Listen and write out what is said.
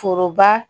Foroba